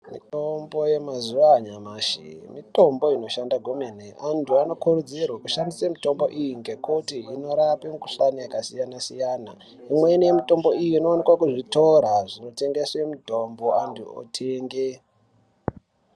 Mitombo yemazuwa anyamashi mitombo inoshanda kwemene antu anokurudzirwa kushandise mitombo iyi ngekuti inorape mokhuhlani yakasiyana siyana imweni yemitombo iyi inowanikwe kuzvitora zvinotengese mutombo angu otenge.